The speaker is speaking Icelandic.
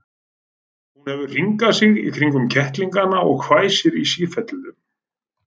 Hún hefur hringað sig kringum kettlingana og hvæsir í sífellu.